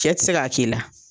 Cɛ ti se k'a k'i la.